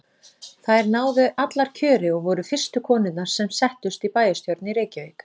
Þær náðu allar kjöri og voru fyrstu konurnar sem settust í bæjarstjórn í Reykjavík.